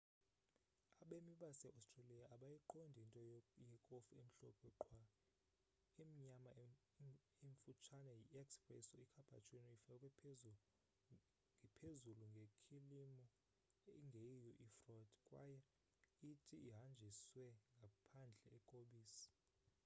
abemi base-australia abayiqondi into ‘yekofu emhlophe qhwa'. imnyama emfutshane yi 'espresso' icappuccino ifakwe phezulu ngekhilimu ingeyiyo ifroth kwaye iti ihanjiswe ngaphandle kobisi